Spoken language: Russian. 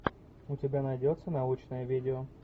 у тебя найдется научное видео